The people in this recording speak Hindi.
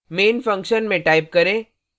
main function में type करें